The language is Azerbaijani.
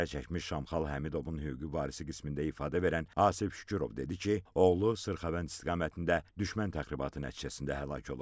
Zərərçəkmiş Şamxal Həmidovun hüquqi varisi qismində ifadə verən Asif Şükürov dedi ki, oğlu Sırxavənd istiqamətində düşmən təxribatı nəticəsində həlak olub.